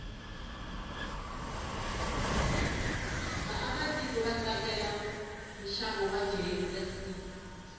vaakatiko vatsakela nshavo wajse